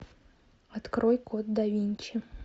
открой код да винчи